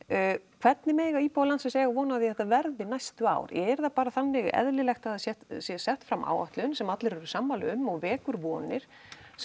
hvernig mega íbúar landsins eiga vona á því að þetta verði næstu ár er það bara þannig eðlilegt að það sé sett fram áætlun sem allir eru sammála um og vekur vonir sem